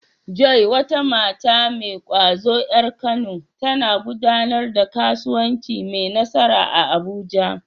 Joy, wata mata mai ƙwazo ƴar Kano, tana gudanar da kasuwanci mai nasara a Abuja.